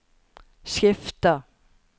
skifter